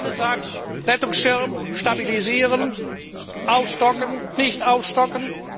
Die eine sagt Rettungsschirm stabilisieren, aufstocken, nicht aufstocken.